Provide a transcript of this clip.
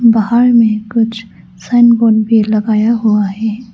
बाहर में कुछ सांगवान पेड़ लगाया हुआ है।